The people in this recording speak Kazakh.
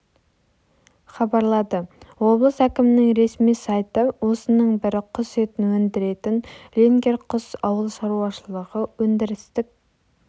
хабарлады облыс әкімінің ресми сайты осының бірі құс етін өндіретін ленгер құс ауыл шаруашылығы өндірістік